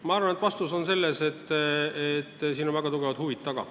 Minu arvates vastus on selles, et siin on väga suured huvid taga.